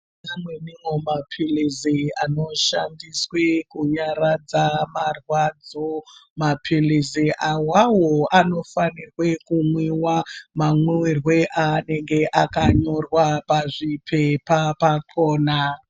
Mapilizi anoshandiswe kunyaradza marwadzo mapilizi awawo anofanirwe kumwiwa mamwiwiro aanenge akanyorwa pazvipepa pakona.